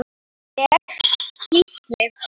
Ég: Gísli.